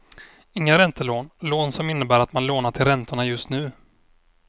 Inga räntelån, lån som innebär att man lånar till räntorna just nu.